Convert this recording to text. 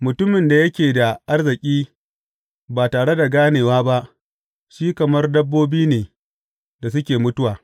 Mutumin da yake da arziki ba tare da ganewa ba shi kamar dabbobi ne da suke mutuwa.